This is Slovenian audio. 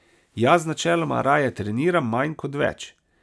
Jaz načeloma raje treniram manj kot več.